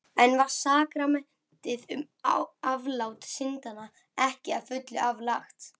Enn var sakramentið um aflát syndanna ekki að fullu aflagt.